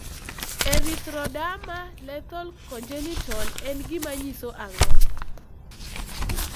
Erythroderma lethal congenital en gima nyiso ang'o?